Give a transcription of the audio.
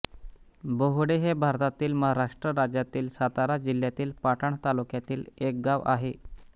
बहुळे हे भारतातील महाराष्ट्र राज्यातील सातारा जिल्ह्यातील पाटण तालुक्यातील एक गाव आहे